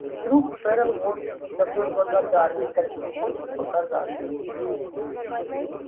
вдруг ферл вовсе не такой благодарный каким хочет показаться